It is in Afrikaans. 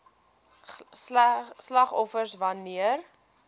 slagoffers wan neer